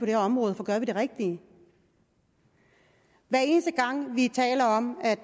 her område for gør vi det rigtige hver eneste gang vi taler om at